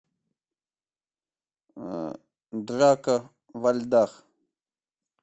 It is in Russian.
драка во льдах